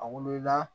A wolola